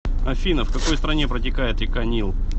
афина в какой стране протекает река нил